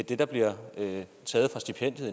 at det der bliver taget fra stipendiet